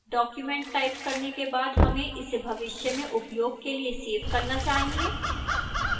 document type करने के बाद हमें इसे भविष्य में उपयोग के लिए सेव करना चाहिए